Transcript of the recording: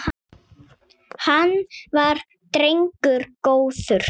Hann var drengur góður.